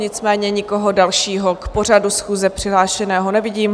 Nicméně nikoho dalšího k pořadu schůze přihlášeného nevidím.